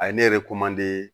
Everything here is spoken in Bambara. A ye ne yɛrɛ